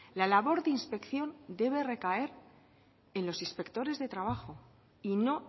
la labor de inspección debe recaer en los inspectores de trabajo y no